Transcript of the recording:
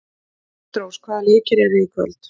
Kristrós, hvaða leikir eru í kvöld?